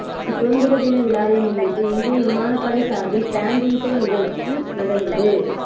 சுதந்திர தின விழாவை முன்னிட்டு இந்திய விமானப் படை சார்பில் பேண்டு இசை நிகழ்ச்சி நடந்தது